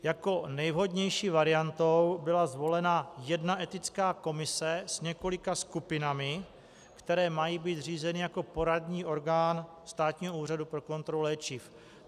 Jako nejvhodnější varianta byla zvolena jedna etická komise s několika skupinami, které mají být zřízeny jako poradní orgán Státního úřadu pro kontrolu léčiv.